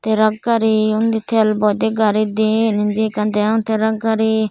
truck gari uni tel boide gari dien eni ekan degong truck gari.